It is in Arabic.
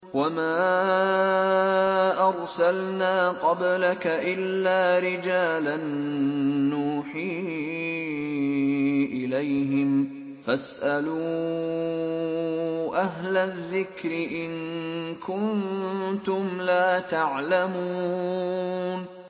وَمَا أَرْسَلْنَا قَبْلَكَ إِلَّا رِجَالًا نُّوحِي إِلَيْهِمْ ۖ فَاسْأَلُوا أَهْلَ الذِّكْرِ إِن كُنتُمْ لَا تَعْلَمُونَ